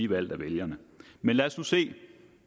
valgt af vælgerne men lad os nu se